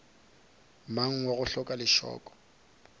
mang wa go hloka lešoko